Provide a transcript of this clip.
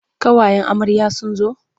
Ƙawayen amarya sun zo.